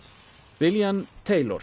William